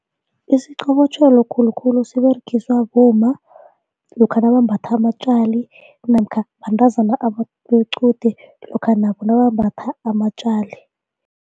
Isiqobotjhelo khulukhulu siberegiswa bomma lokha nabambatha amatjali namkha bantazana bequde lokha nabo nabambatha amatjali.